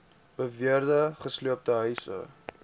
beweerde gesloopte huise